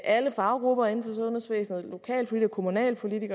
alle faggrupper inden for sundhedsvæsenet lokal kommunal